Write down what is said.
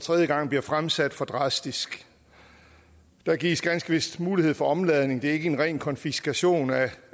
tredje gang bliver fremsat for drastisk der gives ganske vist mulighed for omladning det er ikke en ren konfiskation af